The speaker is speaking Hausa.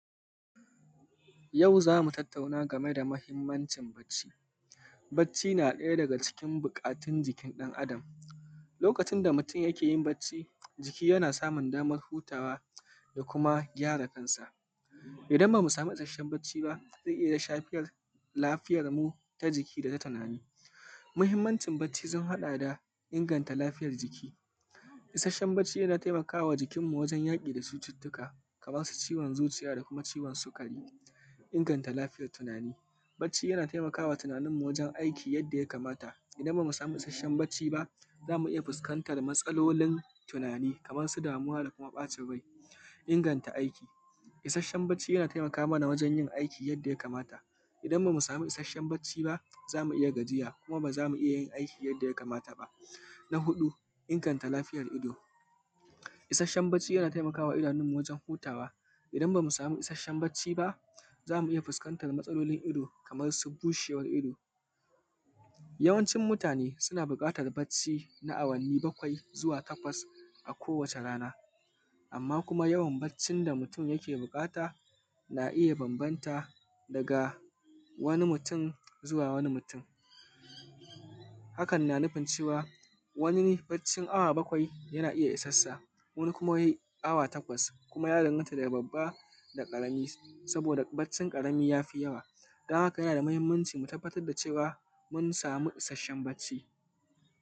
Yau zamu tattauna game da, mahimmancin bacci. Bacci na ɗaya cikin buƙatun jikin ɗan adam lokacin da mutum yakeyin bacci jiki yana samun damar hutawa, da kuma gyara kansa idan bamu samu ishashshen bacci ba zai iyya shfar lafiyarmu ta jiki dana tunani. Mahimmancin bacci sun haɗa da inganta lafiyar jiki, isashshen bacci yan taimakama jikin mu wajen yaki da cututtuka kamansu ciyon zuciya da kumaciwon sikari. Inganta lafiyar tunani bacci ya na tunaninmu wajen aiki yadda ya kamata, idan bamu samu isashshen bacci ba zamu iyya samun matsalolin tunani kamarsu damuwa da ɓacin rai. Inganta aiki isashshen bacci ya na taimakamana wajen yin aiki yanda ya kamata idan bamu samu bacci zamu iyya gajiya kuma bazamu iyyayin aiki yadda ya kamata ba. Na huɗu inganta lafiyar ido urin hutawishashshen bacci ya na taimakawa idanun mu gurin hutawa idan bamu samu isashshen bacci ba zamu iyya fuskantar matsalar ido Kaman su bushewan ido. Yawancin mutane suna buƙatar bacci na awanni bakwai takwas a ko wace rana amma kuma yawan baccin da mutun yakr buƙata na iyya banbanta daga wani mutun zuwa wani mutun, hakan na nufin cewa wani abccin awa bakwai yana iyya isansa wani kuma awa takwas kuma ya danganta daga babba zuwa ƙarami, saboda baccin ƙarami yafi yawa dan haka yana da mahimmanci mu tabbatar da cewamun samu isashshen bacci.